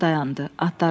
Qatar dayandı.